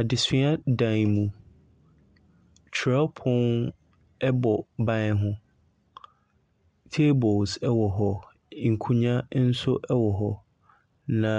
Adesua dan mu, twerɛpono bɔ ban ho, tables wɔ hɔ, nkonnwa nso wɔ hɔ, na